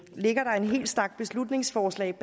ligger der en hel stak beslutningsforslag